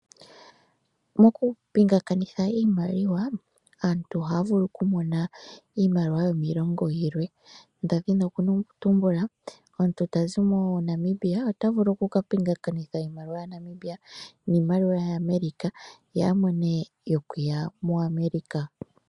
Mokupingakanitha iimaliwa, aantu ohaya vulu okumona iimaliwa yokiilongo yilwe. Oshiholelwa, omuntu ta zi moNamibia ota vulu oku ka pingakanitha iimaliwa yaNamibia niimaliwa yaAmerica ye a mone yokuya moAmerica.